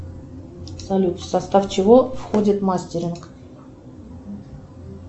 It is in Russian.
салют в состав чего входит мастеринг